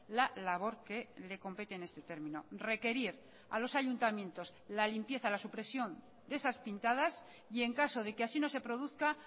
la labor que le compete en este término requerir a los ayuntamientos la limpieza la supresión de esas pintadas y en caso de que así no se produzca